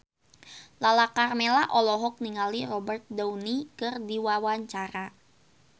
Lala Karmela olohok ningali Robert Downey keur diwawancara